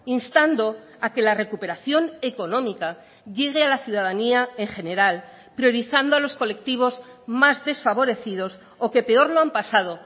instando a que la recuperación económica llegue a la ciudadanía en general priorizando a los colectivos más desfavorecidos o que peor lo han pasado